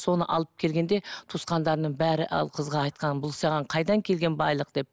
соны алып алып келгенде туысқандарының бәрі ол қызға айтқан бұл саған қайдан келген байлық деп